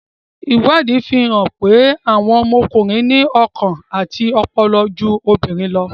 Ìwádìí ti fi hàn pé, àwọn ọkùnrin ní ọkàn àti ọpọlọpọ ju obìnrin lọ.